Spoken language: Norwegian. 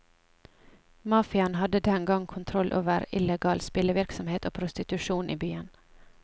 Mafiaen hadde den gang kontroll over illegal spillevirksomhet og prostitusjon i byen.